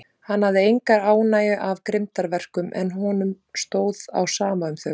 Hann hafði enga ánægju af grimmdarverkum, en honum stóð á sama um þau.